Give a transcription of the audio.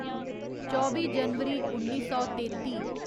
चौबी जनवरी उन्नी सौ तेत्ती